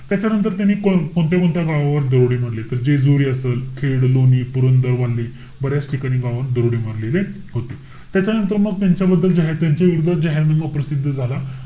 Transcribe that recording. त्याच्यानंतर त्यांनी कोणत्या-कोणत्या गावावर दरोडे मारले? त जेजुरी असेल, खेड, लोणी, पुरंदर, बऱ्याच ठिकाणी गावावर दरोडे मारलेले होते. त्याच्यानंतर मग त्यांच्याबद्दल जे आहे त्यांच्या विरोधात जाहीरनामा प्रसिद्ध झाला.